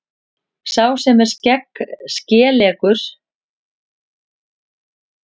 Sá sem er skeleggur er oft hvassyrtur, orðin bíta eins og hnífsegg.